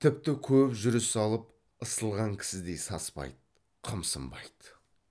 тіпті көп жүріс алып ысылған кісідей саспайды қымсынбайды